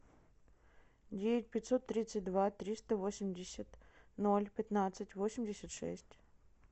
девять пятьсот тридцать два триста восемьдесят ноль пятнадцать восемьдесят шесть